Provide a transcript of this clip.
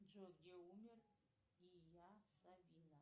джой где умер ия савина